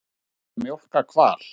Er hægt að mjólka hval?